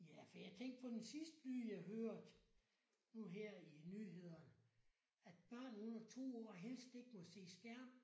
Ja for jeg tænkte på den sidste nye jeg hørte nu her i nyhederne at børn under 2 år helst ikke må se skærm